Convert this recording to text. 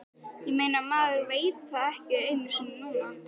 Ég meina, maður veit það ekki einu sinni núna.